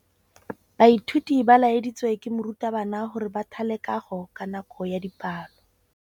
Baithuti ba laeditswe ke morutabana gore ba thale kagô ka nako ya dipalô.